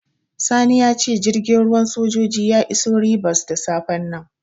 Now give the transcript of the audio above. Sani ya ce jirgin ruwan sojoji ya iso Ribas da safen nan.